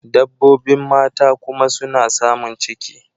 Dabbobin mata kuma suna samun ciki.